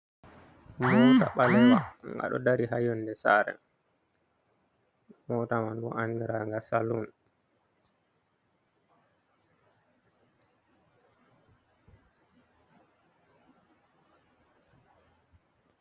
Moota ɓalewa nga ɗo dari haa yonnde saare, moota man bo andiraanga salun.